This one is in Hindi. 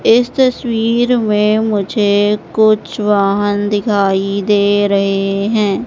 इस तस्वीर में मुझे कुछ वहां दिखाई दे रहे हैं।